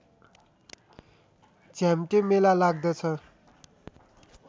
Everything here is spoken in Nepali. झ्याम्टे मेला लाग्दछ